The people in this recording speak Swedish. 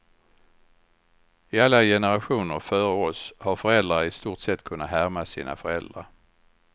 I alla generationer före oss har föräldrar i stort sett kunnat härma sina föräldrar.